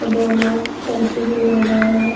दो लोग सेल्फी भी ले रहे है।